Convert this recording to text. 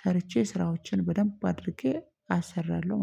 ሰርቼ ስራዎችን በደንብ አድርጌ አሰራለሁ